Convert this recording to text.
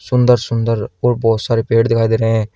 सुंदर सुंदर और बहोत सारे पेड़ दिखाई दे रहे हैं।